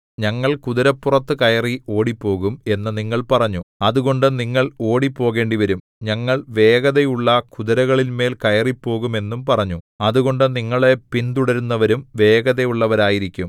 ഞങ്ങൾ കുതിരപ്പുറത്തു കയറി ഓടിപ്പോകും എന്നു നിങ്ങൾ പറഞ്ഞു അതുകൊണ്ട് നിങ്ങൾ ഓടിപ്പോകേണ്ടിവരും ഞങ്ങൾ വേഗതയുള്ള കുതിരകളിന്മേൽ കയറിപ്പോകും എന്നും പറഞ്ഞു അതുകൊണ്ട് നിങ്ങളെ പിന്തുടരുന്നവരും വേഗതയുള്ളവരായിരിക്കും